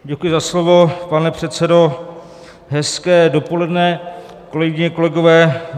Děkuji za slovo, pane předsedo, hezké dopoledne, kolegyně, kolegové.